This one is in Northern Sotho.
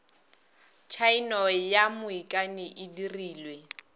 tshaeno ya moikani e dirilwe